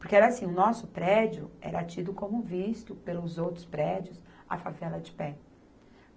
Porque era assim, o nosso prédio era tido como visto pelos outros prédios, a favela de pé.